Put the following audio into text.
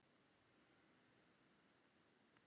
Jón Örn Guðbjartsson: Hérna í þessu hverfi?